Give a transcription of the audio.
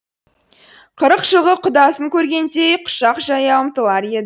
қырық жылғы құдасын көргендей құшақ жая ұмтылар еді